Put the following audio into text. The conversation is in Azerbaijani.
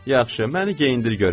Yaxşı, məni geyindir görüm.